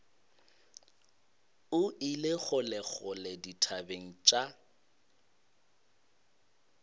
o ile kgolekgole dithabeng tša